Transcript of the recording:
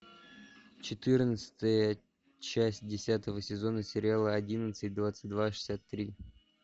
четырнадцатая часть десятого сезона сериала одиннадцать двадцать два шестьдесят три